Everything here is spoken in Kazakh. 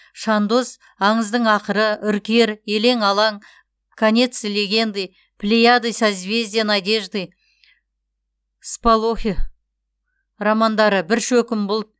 шандоз аңыздың ақыры үркер елең алаң конец легенды плеяды созвездие надежды всполохи романдары бір шөкім бұлт